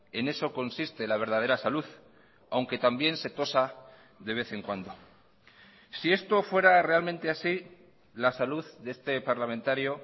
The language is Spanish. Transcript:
en eso consiste la verdadera salud aunque también se tosa de vez en cuando si esto fuera realmente así la salud de este parlamentario